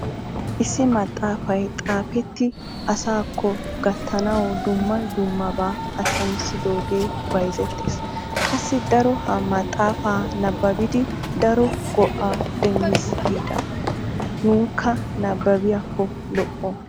Issi maxafaay xaafetti asaakko gattanawu dumma dummaban attamissidoogee bayzzettiis. qassi daro ha maxaafaa nabaabidi daro go"aa demmiis giida. nunkka nababiyaako lo"o.